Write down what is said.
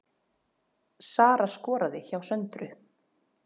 Sara skoraði hjá Söndru